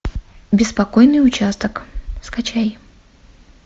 беспокойный участок скачай